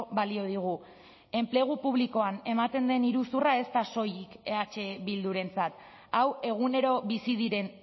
balio digu enplegu publikoan ematen den iruzurra ez da soilik eh bildurerentzat hau egunero bizi diren